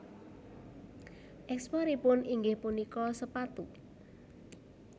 Ekspor ipun inggih punika sepatu